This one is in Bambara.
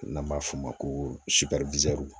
N'an b'a f'o ma ko